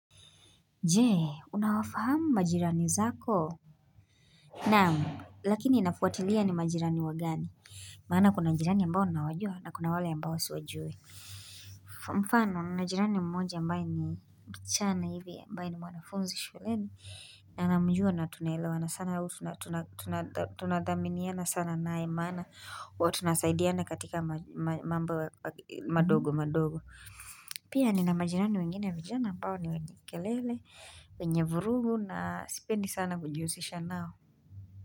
Je unawafahamu majirani zako naam lakini inafuatilia ni majirani wagani maana kuna jirani ambao ninawajua na kuna wale ambao siwajui mfano nina jirani mmoja ambaye ni msichana hivi ambaye ni wanafunzi shuleni na namjua na tunaelewa na sana tunadhaminiana sana nae maana wa tunasaidiana katika mambo madogo madogo pia nina majirani wengine vijana ambao ni wenye kelele wenye vurugu na sipendi sana kujihusisha nao.